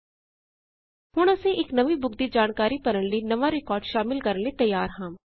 ਹੁਣ ਅਸੀਂ ਇਕ ਨਵੀਂ ਬੁਕ ਦੀ ਜਾਣਕਾਰੀ ਭਰਨ ਲਈ ਨਵਾਂ ਰਿਕਾਰਡ ਸ਼ਾਮਲ ਕਰਨ ਲਈ ਤਿਆਰ ਹਾਂ